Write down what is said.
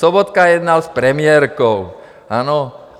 Sobotka jednal s premiérkou, ano?